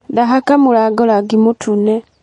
Ndahaka mũrango rangi mũtune.